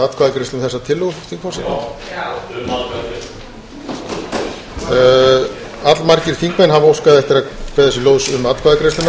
atkvæðagreiðslu um þessa tillögu spyr forseti allmargir þingmenn hafa óskað eftir að kveða sér hljóðs um atkvæðagreiðsluna